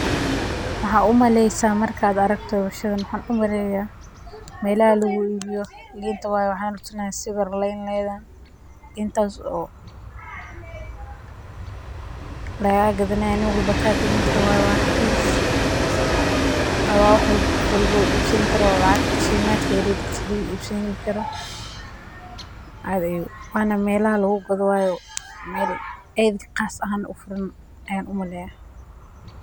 Maxaad u maleysa marki aad aragto halkan midaas oo lagaa gadanaayo waa raqiis qof walbo iibsanayo aad qaas ahaan ayaan umaleya.